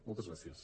moltes gràcies